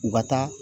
U ka taa